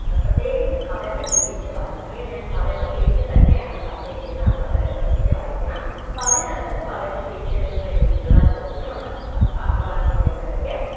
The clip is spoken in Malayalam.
ആ പ്രത്യേകിച്ച് പദങ്ങൾ തിരിച്ചു വായിക്കുക ഞാൻ പദങ്ങൾ തിരിച്ചു തന്നെയാണ് പറഞ്ഞിരിക്കുന്ന അത് വളരെ ശ്രദ്ധിച്ചു വായിക്കണം അപ്പൊ അതിനകത്തിന്ന് പദങ്ങൾ തിരിച്ചെഴുതുന്ന രീതിയിലുള്ള ചോദ്യങ്ങൾ ഉണ്ടാകും അപ്പൊ പാഠഭാഗം നന്നായിട്ട് വായിക്ക